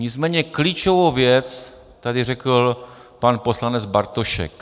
Nicméně klíčovou věc tady řekl pan poslanec Bartošek.